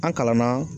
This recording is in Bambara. An kalanna